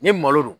Ni malo don